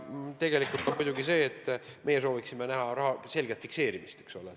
Ent meie sooviksime näha selle raha selget fikseerimist.